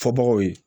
Fɔbagaw ye